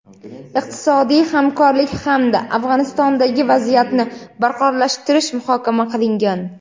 iqtisodiy hamkorlik hamda Afg‘onistondagi vaziyatni barqarorlashtirish muhokama qilingan.